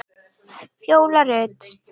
Fjóla Rut.